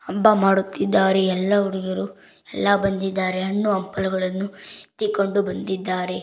ಹಬ್ಬ ಮಾಡುತ್ತಿದ್ದಾರೆ ಎಲ್ಲಾ ಹುಡುಗಿಯರು ಎಲ್ಲಾ ಬಂದಿದ್ದಾರೆ ಹಣ್ಣು ಹಂಪಲುಗಳನ್ನು ಎತ್ತಿಕೊಂಡು ಬಂದಿದ್ದಾರೆ.